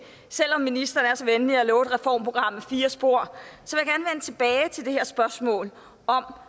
selv om ministeren er så venlig at love et reformprogram med fire spor til det her spørgsmål om